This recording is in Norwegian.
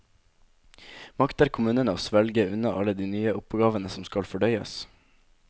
Makter kommunene å svelge unna alle de nye oppgavene som skal fordøyes?